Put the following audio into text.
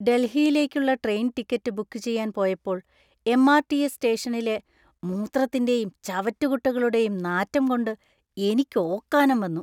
ഡൽഹിയിലേക്കുള്ള train ticket book ചെയ്യാൻ പോയപ്പോൾ M. R. T. S. സ്റ്റേഷനിലെ മൂത്രത്തിൻറെയും ചവറ്റുകുട്ടകളുടെയും നാറ്റം കൊണ്ട് എനിക്ക് ഓക്കാനം വന്നു.